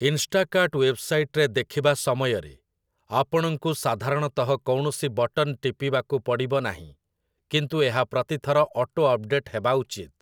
ଇନ୍‌ଷ୍ଟାକାର୍ଟ ୱେବ୍‌ସାଇଟ୍‌ରେ ଦେଖିବା ସମୟରେ, ଆପଣଙ୍କୁ ସାଧାରଣତଃ କୌଣସି ବଟନ୍ ଟିପିବାକୁ ପଡ଼ିବ ନାହିଁ, କିନ୍ତୁ ଏହା ପ୍ରତି ଥର ଅଟୋଅପ୍‌ଡେଟ୍‌ ହେବା ଉଚିତ ।